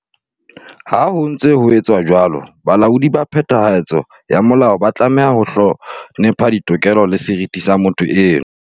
Ha ho ntse ho etswa jwalo, balaodi ba phethahatso ya molao ba tlameha ho hlonepha ditokelo le seriti sa motho eno.